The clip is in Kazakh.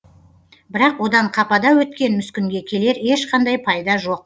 бірақ одан қапада өткен мүскінге келер ешқандай пайда жоқ